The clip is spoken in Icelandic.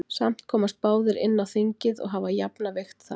Samt komast báðir inn á þingið og hafa jafna vigt þar.